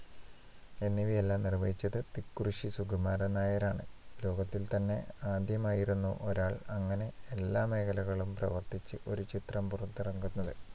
എന്നിവയെല്ലാം നിർവ്വഹിച്ചത് തിക്കുറിശ്ശി സുകുമാരൻ നായരാണ്. ലോകത്തിൽ തന്നെ ആദ്യമായിരുന്നു ഒരാൾ അങ്ങനെ എല്ലാ മേഖലകളും പ്രവർത്തിച്ച് ഒരു ചിത്രം പുറത്തിറക്കുന്നത്